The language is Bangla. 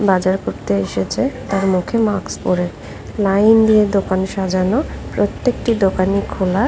বাজার করতে এসেছে তার মুখে মাক্স পরে লাইন দিয়ে দোকান সাজানো প্রত্যেকটি দোকানই খোলা।